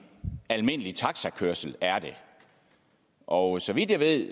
almindelig taxakørsel og så vidt jeg ved